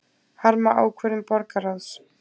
Harma ákvörðun borgarráðs